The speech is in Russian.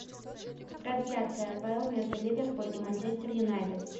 трансляция апл между ливерпуль и манчестер юнайтед